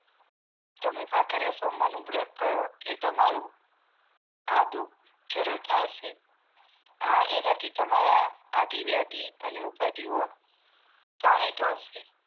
તમે ભાખરીયા સોમવારનું વ્રત કરો એતમારું આ દુઃખ જરૂર ફાળશે આ એનાથીજ તમારાઆધિવ્યાધી અને ઉપાધિઓ ત્રણેય ટાળશે